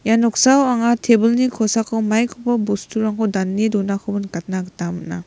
ia noksao anga tebilni kosako maikoba bosturangko dane donakoba nikna gita man·a.